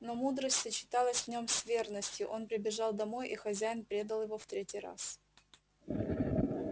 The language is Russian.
но мудрость сочеталась в нём с верностью он прибежал домой и хозяин предал его в третий раз